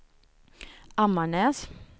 Ammarnäs